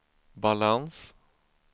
balans